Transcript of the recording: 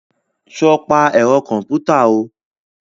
Sọ pa kọ̀mpútà o?